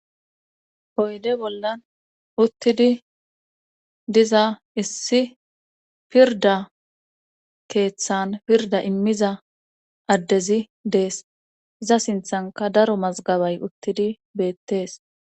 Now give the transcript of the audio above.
Hoyde bollan uttidi diza issi pirda keeththan pirda immiza addezi dees za sinthanka daro mazgabay uttidi beettees.